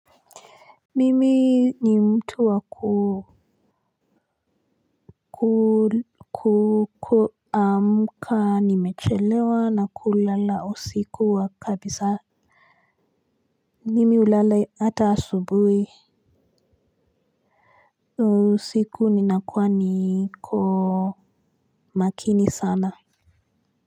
Mimi ni mtu waku kuku amka nimechelewa na kulala usiku wa kabisa mimi hulala ata asubui na usiku ninakua niko makini sana.